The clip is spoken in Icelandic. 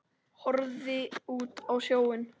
Horfði út á sjóinn.